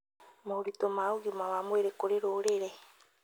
Moritũ ma ũgima wa mwĩrĩ kũrĩ rũrĩrĩ